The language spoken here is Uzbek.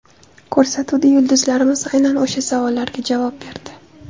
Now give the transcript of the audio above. Ko‘rsatuvda yulduzlarimiz aynan o‘sha savollarga javob berdi.